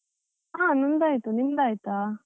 ಹಾ ನಂದ್ ಆಯಿತು, ನಿಮ್ದ್ ಆಯ್ತಾ?